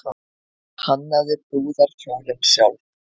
Hannaði brúðarkjólinn sjálf